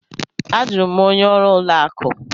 A jụrụ m onye ọrụ ụlọ akụ.